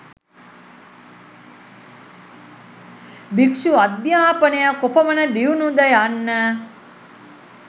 භික්ෂු අධ්‍යාපනය කොපමණ දියුණුද යන්න